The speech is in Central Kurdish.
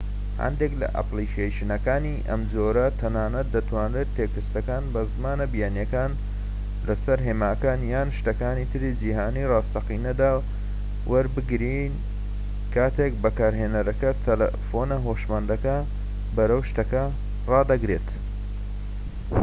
هەندێک لە ئەپلیکەیشنەکانی ئەم جۆرە تەنانەت دەتوانن تێکستەکان بە زمانە بیانییەکان لەسەر هێماکان یان شتەکانی تری جیهانی ڕاستەقینەدا وەربگێڕن کاتێک بەکارهێنەرەکە تەلەفۆنە هۆشمەندەکە بەرەو شتەکە ڕادەگرێت